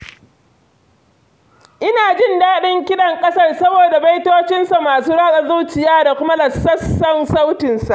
Ina jin daɗin kiɗan ƙasar saboda baitocinsa masu ratsa zuciya da kuma lausassan sautinsa.